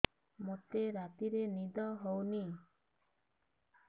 ମୋତେ ରାତିରେ ନିଦ ହେଉନି